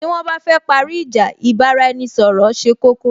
Tí wón bá fẹ́ parí ìjà, ì bá ra-ẹni ṣọ̀rọ̀ ṣe koko